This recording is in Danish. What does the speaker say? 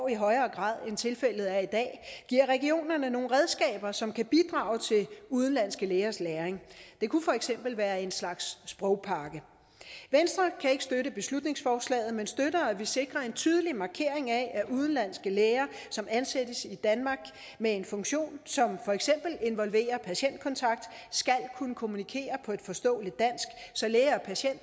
i højere grad end tilfældet er i dag giver regionerne nogle redskaber som kan bidrage til udenlandske lægers læring det kunne for eksempel være en slags sprogpakke venstre kan ikke støtte beslutningsforslaget men støtter at vi sikrer en tydelig markering af at udenlandske læger som ansættes i danmark med en funktion som for eksempel involverer patientkontakt skal kunne kommunikere på et forståeligt dansk så læge og patient